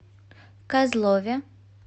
козлове